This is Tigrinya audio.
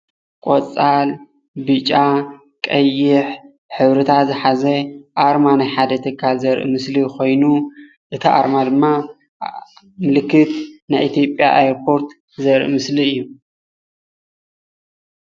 ቆፃል፣ ብጫ፣ ቀይሕ ሕብርታት ዝሓዘ ኣርማ ናይ ሓደ ትካል ዘርኢ ምስሊ ኾይኑ እቲ ኣርማ ድማ ምልክት ናይ ኢትዮጵያ ኣየር ፖርት ዘርኢ ምስሊ እዩ።